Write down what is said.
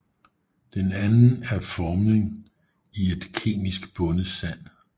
Den anden er formning i et kemisk bundet sand